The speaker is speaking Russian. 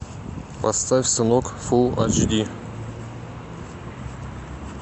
поставь сынок фул эйч ди